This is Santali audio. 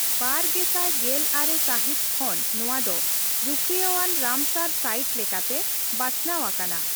ᱵᱟᱨ ᱜᱮᱥᱟᱭ ᱜᱮᱞ ᱟᱨᱮ ᱥᱟᱹᱦᱤᱛ ᱠᱷᱚᱱ ᱱᱚᱣᱟ ᱫᱚ ᱨᱩᱠᱷᱤᱭᱟᱹᱣᱟᱱ ᱨᱟᱢᱥᱟᱨ ᱥᱟᱭᱤᱴ ᱞᱮᱠᱟᱛᱮ ᱵᱟᱪᱷᱱᱟᱣ ᱟᱠᱟᱱᱟ ᱾